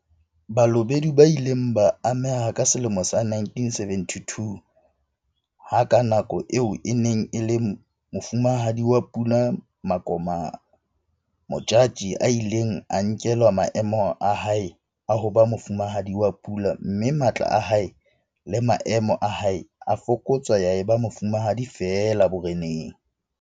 Balobedu ba ile ba ameha ka selemo sa 1972 ha ka nako eo e neng e le Mofumahadi wa Pula Makoma Modjadji a ileng a nkelwa maemo a hae a ho ba Mofumahadi wa Pula mme matla a hae le maemo a hae a fokotswa ya eba mofumahadi feela boreneng.